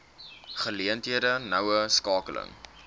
geleenthede noue skakeling